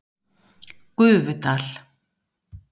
Gufudal